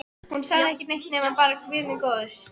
Hún sagði ekki neitt nema bara Guð minn góður.